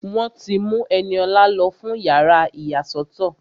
Wọ́n ti mú Ẹniọlá lọ fún yàrá ìyàsọ́tọ̀